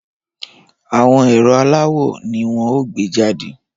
Àwọn ẹ̀rọ aláwò ni wọ́n ó gbé jàde